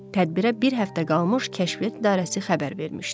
Tədbirə bir həftə qalmış Kəşfiyyat İdarəsi xəbər vermişdi.